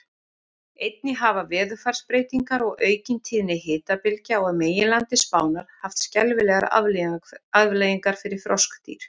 Einnig hafa veðurfarsbreytingar og aukin tíðni hitabylgja á meginlandi Spánar haft skelfilegar afleiðingar fyrir froskdýr.